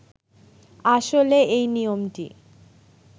আসলে এই নিয়মটি